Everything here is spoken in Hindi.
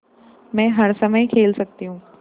मै हर समय खेल सकती हूँ